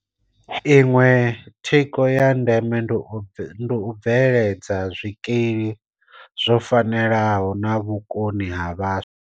Iṅwe thikho ya ndeme ndi u bveledza zwikili zwo fanelaho na vhukoni ha vhaswa.